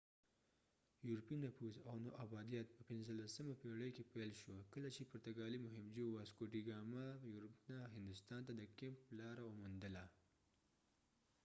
یورپي نفوذ او نوابادیت په 15مه پېړۍ کې پیل شو کله چې پرتګالي مهمجو واسکو ډي ګاما یورپ نه هندوستان ته د کېپ لار وموندله